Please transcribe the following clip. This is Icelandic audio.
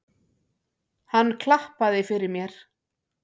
Hann klappaði fyrir mér.